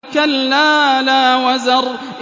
كَلَّا لَا وَزَرَ